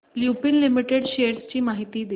Lupin limited shares ची माहिती दे